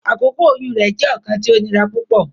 Akoko oyun rẹ jẹ ọkan ti o nira pupọ.